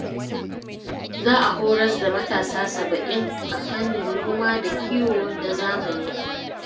Za a horas da matasa saba'in a fannin noma da kiwo na zamani